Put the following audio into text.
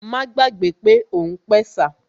Má gbàgbé pé òun pẹ̀sà